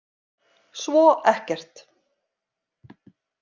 Svo ekkert.